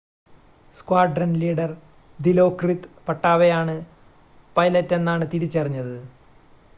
squadron leader Dilokrit Pattavee ആണ് പൈലറ്റെന്നാണ് തിരിച്ചറിഞ്ഞത്